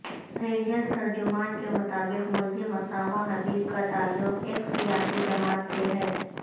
rangers ترجمان کے مطابق ملزم اسامہ حبیب کا تعلق ایک سیاسی جماعت سے ہے